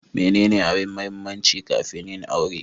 Menene abin mahimmanci kafin yin aure?